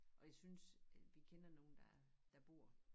Og jeg synes vi kender nogen der der bor